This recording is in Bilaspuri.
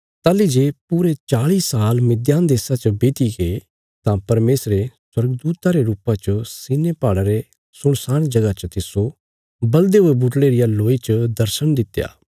ताहली जे पूरे चाल़ी साल मिद्यान देशा च बीत्तीगे तां परमेशरे स्वर्गदूता रे रुपा च सिनै पहाड़ा रे सुनसान जगह च तिस्सो बल़दे हुये बुटड़े रिया लोई च दर्शण दित्या